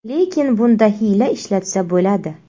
Lekin bunda hiyla ishlatsa bo‘ladi.